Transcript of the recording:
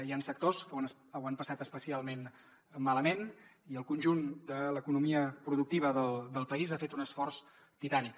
hi ha sectors que ho han passat especialment malament i el conjunt de l’economia productiva del país ha fet un esforç titànic